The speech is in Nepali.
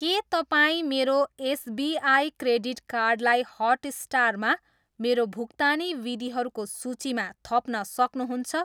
के तपाईँ मेरो एसबिआई क्रेडिट कार्डलाई हटस्टारमा मेरो भुक्तानी विधिहरूको सूचीमा थप्न सक्नुहुन्छ?